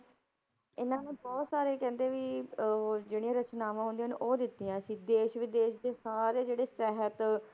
ਇਹਨਾਂ ਨੇ ਬਹੁਤ ਸਾਰੀਆਂ ਕਹਿੰਦੇ ਵੀ ਉਹ ਜਿਹੜੀਆਂ ਰਚਨਾਵਾਂ ਹੁੰਦੀਆਂ ਨੇ ਉਹ ਦਿੱਤੀਆਂ ਸੀ, ਦੇਸ ਵਿਦੇਸ਼ ਦੇ ਸਾਰੇ ਜਿਹੜੇ ਸਹਿਤ